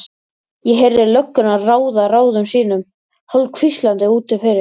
Ég heyrði löggurnar ráða ráðum sínum hálfhvíslandi úti fyrir.